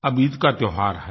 अब ईद का त्योहार है